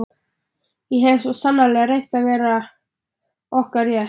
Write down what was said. Ég hef svo sannarlega reynt að verja okkar rétt.